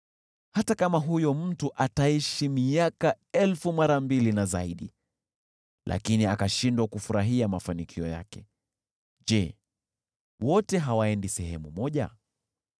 Hata kama huyo mtu ataishi miaka elfu mara mbili na zaidi, lakini akashindwa kufurahia mafanikio yake, je, wote hawaendi sehemu moja?